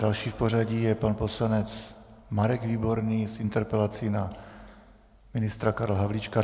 Další v pořadí je pan poslanec Marek Výborný s interpelací na ministra Karla Havlíčka.